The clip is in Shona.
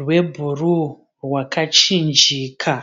rwebhuru rwakachinjika.